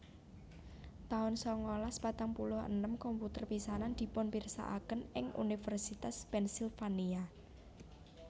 taun sangalas patang puluh enem komputer pisanan dipunpirsakaken ing Univèrsitas Pennsylvania